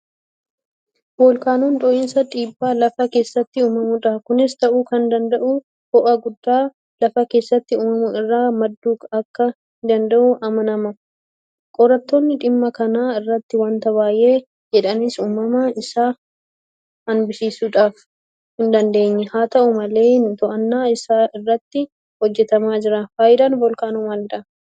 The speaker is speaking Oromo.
Voolkaanoon dhohinsa dhiibbaa Lafa keessaatiin uumamudha. Kunis ta'uu kan danda'u ho'a guddaa lafa keessatti uumamu irraa madduu akka danda'u amanama. Qorattoonni dhimma kana irratti waanta baay'ee jedhanis uumama isaa hanbisuudhaaf hindandeenye. Haata'u malee to'annoo isaa irratti hojjetamaa jira. Faayidaan Voolkaanoo maalidha?